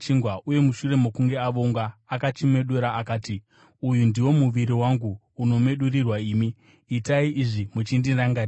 uye mushure mokunge avonga, akachimedura akati, “Uyu ndiwo muviri wangu, unomedurirwa imi; itai izvi muchindirangarira.”